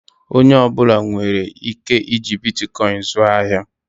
Onye ọ bụla nwere ike iji Bitikoin zụọ ahịa?